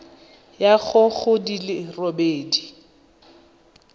ya go di le robedi